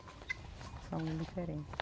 São diferentes.